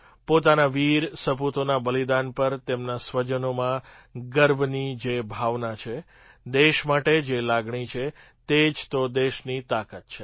પોતાના વીર સપૂતોના બલિદાન પર તેમના સ્વજનોમાં ગર્વની જે ભાવના છે દેશ માટે જે લાગણી છે તે જ તો દેશની તાકાત છે